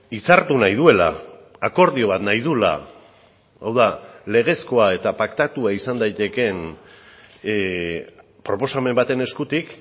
hitzartu nahi duela akordio bat nahi duela hau da legezkoa eta paktatua izan daitekeen proposamen baten eskutik